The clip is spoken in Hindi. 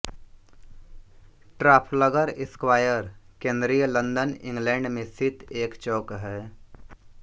ट्राफलगर स्क्वायर केन्द्रीय लन्दन इंग्लैड में स्थित एक चौक है